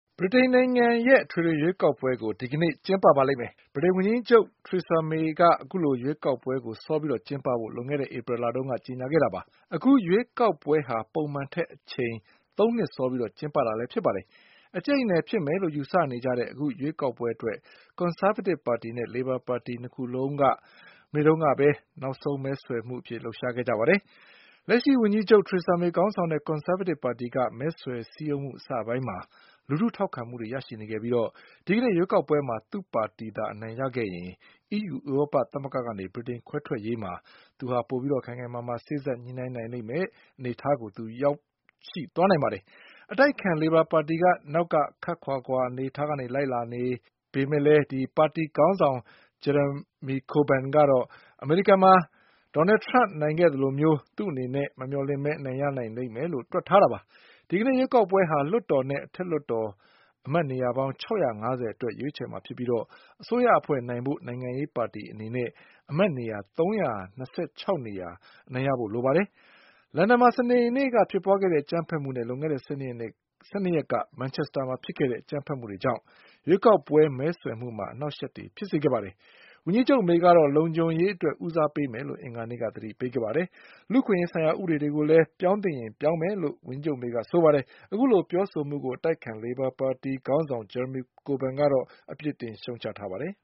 ဗြိတိန်နိုင်ငံရဲ့အထွေထွေ ရွေးကောက်ပွဲကို ဒီကနေ့ ကျင်းပပါလိမ့်မယ်။ ဗြိတိန်ဝန်ကြီးချုပ် Theresa May က အခုလို ရွေးကောက်ပွဲကို စောပြီး ကျင်းပဖို့လွန်ခဲ့တဲ့ ဧပြီလတုန်းက ကြေညာခဲ့တာပါ။ အခုရွေးကောက်ပွဲဟာ ပုံမှန်ထက် အချိန်သုံးနှစ် စောပြီး ကျင်းပတာ လည်းဖြစ်ပါတယ်။ အကြိတ်အနယ် ဖြစ်မယ်လို့ ယူဆနေကြတဲ့ အခု ရွေးကောက်ပွဲအတွက် ကွန်ဆာဗေးတစ်ပါတီနဲ့ လေဘာပါတီ နှစ်ခုလုံးက မနေ့က နောက်ဆုံး မဲဆွယ်လှုပ်ရှား ခဲ့ကြပါတယ်။ လက်ရှိဝန်ကြီးချုပ် Theresa May ခေါင်းဆောင်တဲ့ ကွန်ဆာဗေးတစ်ပါ တီက မဲဆွယ်စည်းရုံးမှု အစပိုင်းမှာ လူထုထောက်ခံမှုတွေ ရရှိနေခဲ့ပြီး ဒီကနေ့ ရွေးကောက်ပွဲမှာ သူ့ပါတီ အနိုင်ရခဲ့ရင် EU ဥရောပသမဂ္ဂ ကနေ ဗြိတိန်ခွဲထွက်ရေးမှာ သူဟာ ပိုပြီးခိုင်ခိုင်မာမာ စေ့စပ်ညှိနှိုင်းနိုင်မယ့် အနေအထားကို ရသွားနိုင်ပါတယ်။ အတိုက်အခံ လေဘာပါတီက နောက်ကခပ်ခွာခွာလိုက်နေ ပေမယ့် ပါတီခေါင်းဆောင် Jeremy Corbyn ကတော့ အမေရိကန်မှာ ဒေါ်နယ်ထရမ့် နိုင်ခဲ့သလို သူ့အနေနဲ့ မမျှော်လင့်ဘဲ အနိုင်ရလိမ့်မယ်လို့ တွက်ထားတာပါ။ ဒီကနေ့ရွေးကောက်ပွဲဟာ အောက်လွှတ်တော်နဲ့ အထက် လွှတ်တော် အမတ်နေရာပေါင်း ၆၅၀ အတွက် ရွေးချယ်မှာ ဖြစ်ပြီး အစိုးရဖွဲ့နိုင်ဖို့ နိုင်ငံရေးပါတီ အနေနဲ့အမတ်နေရာ ၃၂၆ နေရာ အနိုင်ရဖို့လိုအပ်ပါတယ်။ လန်ဒန်မှာ စနေနေ့က ဖြစ်ပွား ခဲ့တဲ့ အကြမ်းဖက်မှုနဲ့ လွန်ခဲ့တဲ့ ၁၂ ရက်က မန်ချက်စတာမှာ ဖြစ်ခဲ့တဲ့ အကြမ်းဖက်မှုတွေကြောင့် ရွေးကောက်ပွဲမဲဆွယ်မှုမှာ အနှောင့်အယှက်တွေ ဖြစ်စေခဲ့ပါတယ်။ ဝန်ကြီးချုပ် Theresa May ကတော့ လုံခြံ ုရေး အတွက် ဦးစားပေးမယ်လို့ အင်္ဂါနေ့က သတိပေးခဲ့ပါတယ်။ လူ့အခွင့်အရေးဆိုင်ရာ ဥပဒေတွေကိုလည်း ပြောင်းသင့်ရင် ပြောင်းမယ်လို့လည်း ဝန်ကြီးချုပ် May က ဆိုပါတယ်။ အခုလိုပြောဆိုမှုကို အတိုက်အခံ လေဘာပါတီခေါင်းဆောင် Jeremy Corbyn က အပြစ်တင် ရှုတ်ချလိုက်ပါတယ်။